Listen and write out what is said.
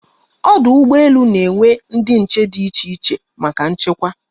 Ọdụ ụgbọ elu na enwe ndị nche di iche iche maka nchekwa